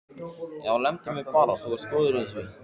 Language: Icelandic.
Já, lemdu mig bara, þú ert góður í því!